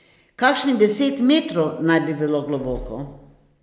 Kakšnih deset metrov naj bi bilo globoko.